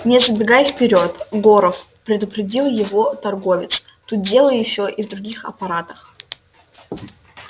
не забегай вперёд горов предупредил его торговец тут дело ещё и в других аппаратах